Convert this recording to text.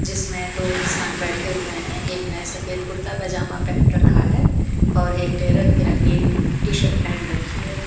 जिसमें दो इंसान बैठे हुए हैं एक ने सफेद कुर्ता पजामा पहन रखा है और एक टे रंग बिरंगी टी शर्ट पहन रखी है।